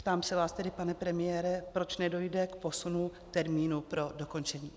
Ptám se vás tedy, pane premiére, proč nedojde k posunu termínu pro dokončení.